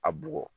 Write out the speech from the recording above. A bugɔ